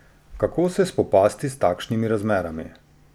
Kako se spopasti s takšnimi razmerami?